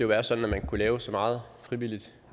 være sådan at man kunne lave så meget frivilligt